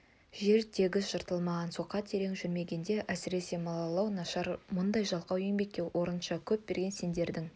жер тегіс жыртылмаған соқа терең жүрмеген әсіресе малалау нашар мұндай жалқау еңбекке осынша көп берген сендердің